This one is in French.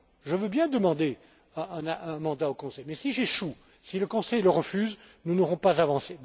Je veux bien demander un mandat au Conseil, mais si j'échoue, si le Conseil le refuse, nous n'aurons pas avancé.